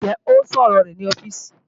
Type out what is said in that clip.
Ǹjẹ́ ó sọ̀rọ rẹ̀ ní ọ́fíìsì?